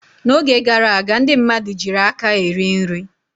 N'oge gara aga ndị mmadụ jiiri aka eri nri.